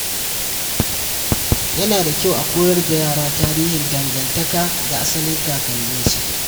Yana da kyau a koyar da yara tarihin dangantaka da asalin kakanninsu.